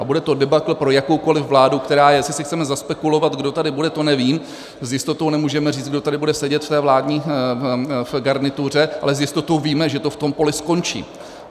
A bude to debakl pro jakoukoliv vládu, která - jestli si chceme zaspekulovat, kdo tady bude, to nevím, s jistotou nemůžeme říct, kdo tady bude sedět v té vládní garnituře, ale s jistotou víme, že to v tom poli skončí.